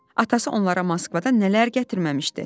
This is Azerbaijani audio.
Atası onlara Moskvadan nələr gətirməmişdi: